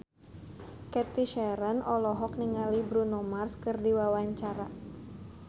Cathy Sharon olohok ningali Bruno Mars keur diwawancara